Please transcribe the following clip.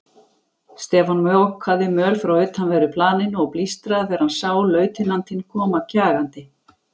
Stefán mokaði möl frá utanverðu planinu og blístraði þegar hann sá lautinantinn koma kjagandi.